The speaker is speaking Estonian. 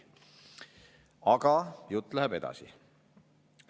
Aga jutt läheb edasi.